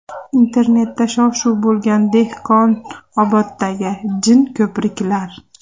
Internetda shov-shuv bo‘lgan Dehqonoboddagi jin ko‘priklar.